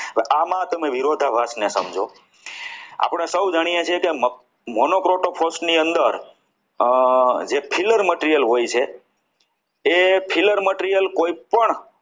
આમાં તમે વિરોધાભાસ ને સમજો આપણે સૌ જાણીએ છીએ કે મગફળીના મુનો ક્રોટીક ની અંદર જે philar material હોય છે એ philar material કોઈપણ